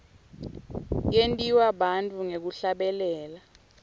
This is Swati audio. yentiwa bantfu ngekuhlabelela